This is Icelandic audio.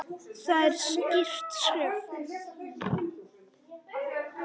Það er skýrt skref.